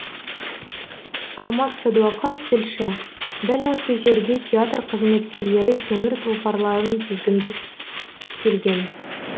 алмас садуақас тілші дәл осы жерде театр қызметкерлері темір тұлпарларын тізгіндіп келген